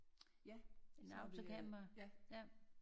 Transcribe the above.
Ja så har vi øh ja